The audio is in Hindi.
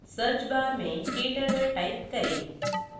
search bar में kturtle type करें